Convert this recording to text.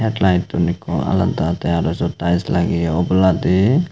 litun ekko alada te araw sot taels lageye oboladi.